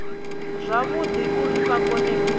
zwavhudi uri vha kone u